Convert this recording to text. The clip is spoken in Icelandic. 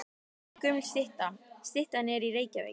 Þetta er gömul stytta. Styttan er í Reykjavík.